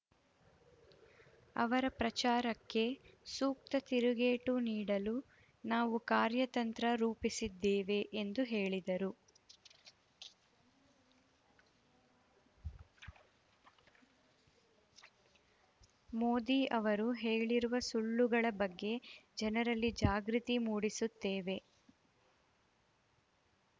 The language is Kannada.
ಅವರ ಪ್ರಚಾರಕ್ಕೆ ಸೂಕ್ತ ತಿರುಗೇಟು ನೀಡಲು ನಾವು ಕಾರ್ಯತಂತ್ರ ರೂಪಿಸಿದ್ದೇವೆ ಎಂದು ಹೇಳಿದರು ಮೋದಿ ಅವರು ಹೇಳಿರುವ ಸುಳ್ಳುಗಳ ಬಗ್ಗೆ ಜನರಲ್ಲಿ ಜಾಗೃತಿ ಮೂಡಿಸುತ್ತೇವೆ